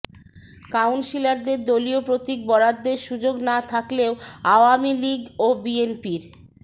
কাউন্সিলরদের দলীয় প্রতীক বরাদ্দের সুযোগ না থাকলেও আওয়ামী লীগ ও বিএনপির